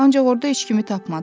Ancaq orda heç kimi tapmadı.